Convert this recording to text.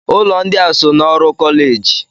Ụlọ ndị a so n'ọrụ kọleji?